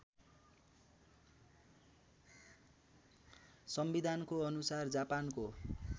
संविधानको अनुसार जापानको